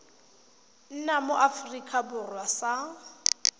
nna mo aforika borwa sa